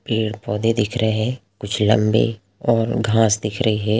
पेड़ पौधे दिख रहे है कुछ लंबे और घास दिख रही है।